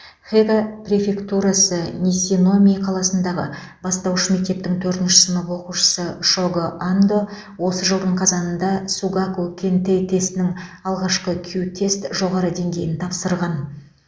хего префектурасы нисиномии қаласындағы бастауыш мектептің төртінші сынып оқушысы шого андо осы жылдың қазанында сугаку кэнтэй тестінің алғашқы кю тест жоғары деңгейін тапсырған